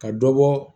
Ka dɔ bɔ